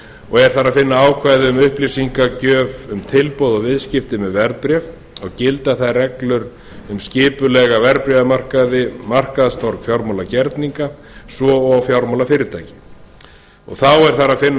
og er þar að finna ákvæði um upplýsingagjöf um tilboð og viðskipti með verðbréf og gilda þær reglur um skipulega verðbréfamarkaði markaðstorg fjármálagerninga svo og fjármálafyrirtækja þá er þar að finna ákvæði